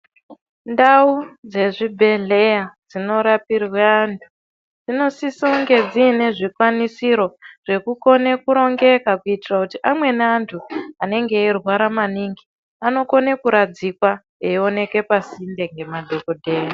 Ndau dzezvibhedhlera dzinorapirwe vantu dzinosise kunge dziine zvikwanisiro zvekukone kurongeka kuitira kuti amweni antu anenge eirwara maningi anokona kuradzikwa eioneke pasinde ngemadhokodheya.